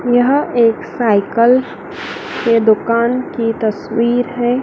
यह एक साइकल के दुकान की तस्वीर है।